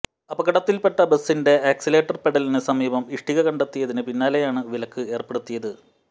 അപകടത്തിൽപ്പെട്ട ബസിന്റെ ആക്സിലറേറ്റർ പെഡലിന് സമീപം ഇഷ്ടിക കണ്ടെത്തിയതിന് പിന്നാലെയാണ് വിലക്ക് ഏർപ്പെടുത്തിയത്